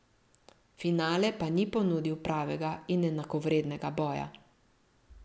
Finale pa ni ponudil pravega in enakovrednega boja.